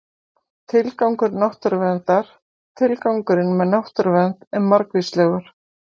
Tilgangur náttúruverndar Tilgangurinn með náttúruvernd er margvíslegur.